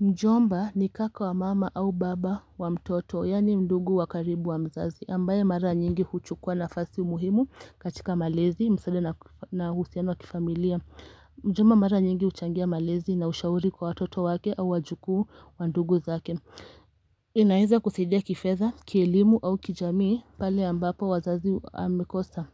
Mjomba ni kaka wa mama au baba wa mtoto, yaani mndugu wa karibu wa mzazi ambaye mara nyingi huchukua nafasi muhimu katika malezi msaada na husiano wa kifamilia Mjomba mara nyingi uchangia malezi na ushauri kwa watoto wake au wajukuu wa ndugu zake niaeza kusaidia kifedha, kielimu au kijamii pale ambapo wazazi amekosa